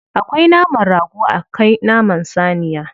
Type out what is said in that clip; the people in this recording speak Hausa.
Akwai naman rago akwai naman saniya.